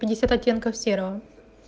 пятьдесят оттенков серого